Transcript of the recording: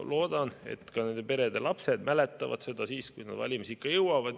Loodan, et ka nende perede lapsed mäletavad seda siis, kui nad valimisikka jõuavad.